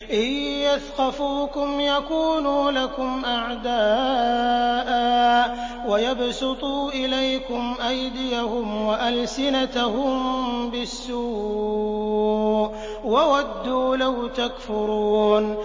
إِن يَثْقَفُوكُمْ يَكُونُوا لَكُمْ أَعْدَاءً وَيَبْسُطُوا إِلَيْكُمْ أَيْدِيَهُمْ وَأَلْسِنَتَهُم بِالسُّوءِ وَوَدُّوا لَوْ تَكْفُرُونَ